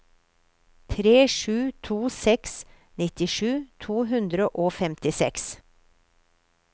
tre sju to seks nittisju to hundre og femtiseks